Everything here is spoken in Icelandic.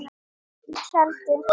Í tjaldi.